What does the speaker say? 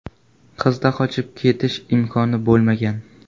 Qizda qochib ketish imkoni bo‘lmagan.